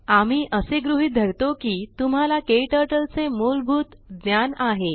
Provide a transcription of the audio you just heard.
आम्ही असे गृहीत धरतो की तुम्हाला KTturtleचे मूलभूत ज्ञान आहे